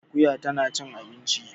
Akuya tana cin abinci